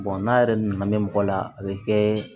n'a yɛrɛ nana ne mɔgɔ la a bɛ kɛ